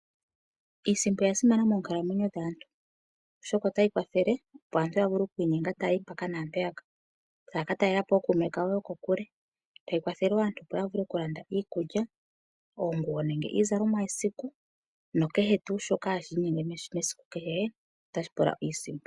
Iisimpo oya simana moonkalamweyo dhaantu oshoka otayi kwathele opo aantu ya vule oku inyenga taya yi mpaka nampeyaka. Taya ka talela po ookuume kawo yo kokule. Tayi kwathele wo opo aantu ya vule okulanda iikulya, oonguwo nenge iizalomwa yesiku. No kehe tuu shoka hashi inyenge mesiku kehe tashi pula iisimpo.